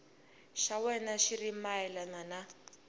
xa wena xi ri mayelana